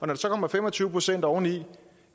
der så kommer fem og tyve procent oveni